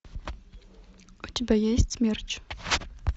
у тебя есть смерч